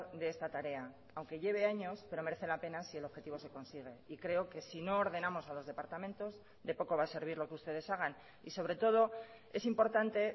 de esta tarea aunque lleve años pero merece la pena si el objetivo se consigue y creo que si no ordenamos a los departamentos de poco va a servir lo que ustedes hagan y sobre todo es importante